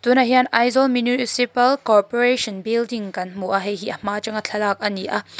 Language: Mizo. tunah hian aizawl municipal corporation building kan hmu a heihi a hma atanga thlalak ani a.